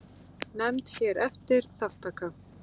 Nefnd hér eftir: Þátttaka.